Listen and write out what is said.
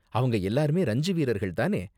அவங்க எல்லோருமே ரஞ்சி வீரர்கள் தானே?